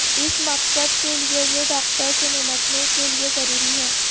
اس مقصد کے لئے یہ ڈاکٹر سے نمٹنے کے لیے ضروری ہے